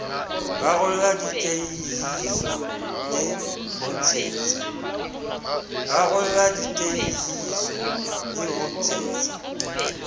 rarollla diteihiso le ho ntsetsa